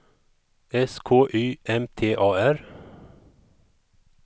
S K Y M T A R